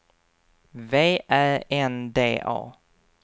V Ä N D A